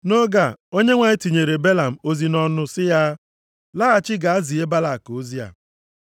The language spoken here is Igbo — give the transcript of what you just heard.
Nʼoge a, Onyenwe anyị tinyere Belam ozi nʼọnụ sị ya, “Laghachi gaa zie Balak ozi a.”